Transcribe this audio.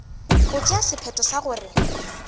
go tšea sephetho sa gore